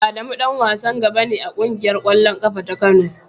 Adamu dan wasan gaba ne a kungiyar kwallon kafa ta Kano.